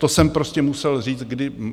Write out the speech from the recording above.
To jsem prostě musel říct.